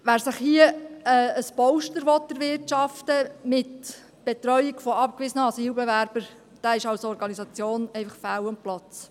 Wer sich hier mit der Betreuung von abgewiesenen Asylbewerbern ein Polster erwirtschaften will, der ist als Organisation einfach fehl am Platz.